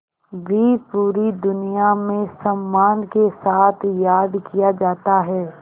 भी पूरी दुनिया में सम्मान के साथ याद किया जाता है